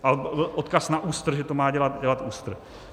A odkaz na ÚSTR, že to má dělat ÚSTR.